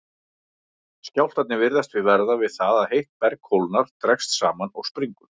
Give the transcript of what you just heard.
Skjálftarnir virðast því verða við það að heitt berg kólnar, dregst saman og springur.